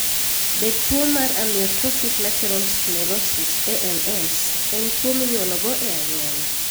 Be tuwo mar amyotrophic lateral sclerosis (ALS) en tuwo minyuolo go e anyuola?